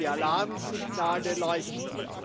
Die Alarmsignale leuchten.